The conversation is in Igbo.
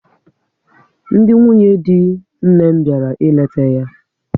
Ndị nwunye dị nne m bịara ịleta ya